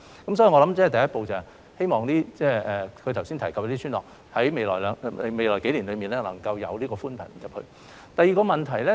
所以，我想第一步是，希望她剛才提及的村落在未來數年內可以有寬頻入村。